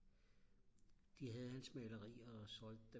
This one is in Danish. de havde hans malerier og solgte dem